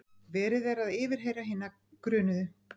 Verið er að yfirheyra hina grunuðu